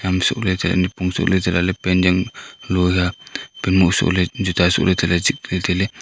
am soh ley tailey cha nipong soh lah ley chehlah ley pant yao nu long hiya pant moh soh ley juta sohley tailey zik ley ley tailey.